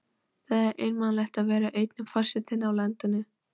Það er einmanalegt að vera eini forsetinn í landinu.